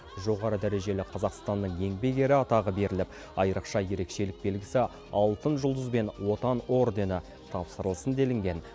жоғары дәрежелі қазақстанның еңбек ері атағы беріліп айрықша ерекшелік белгісі алтын жұлдыз бен отан ордені тапсырылсын делінген